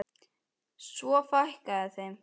Og svo fækkaði þeim.